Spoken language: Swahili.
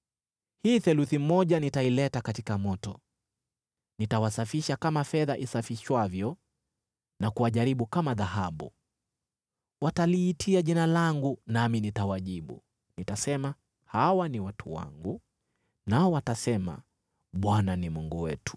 Hii theluthi moja nitaileta katika moto; nitawasafisha kama fedha isafishwavyo na kuwajaribu kama dhahabu. Wataliitia Jina langu nami nitawajibu; nitasema, ‘Hawa ni watu wangu,’ nao watasema, ‘ Bwana ni Mungu wetu.’ ”